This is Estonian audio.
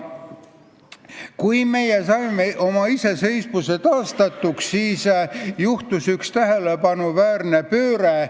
Kui me saime oma iseseisvuse taastatud, siis toimus üks tähelepanuväärne pööre.